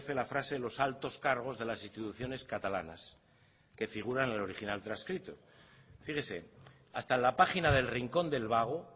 la frase los altos cargos de las instituciones catalanas que figura en el original transcrito fíjese hasta en la página del rincón del vago